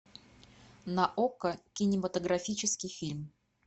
на окко кинематографический фильм